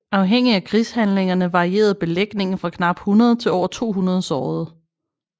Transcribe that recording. Afhængigt af krigshandlingerne varierede belægningen fra knap 100 til over 200 sårede